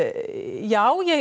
já ég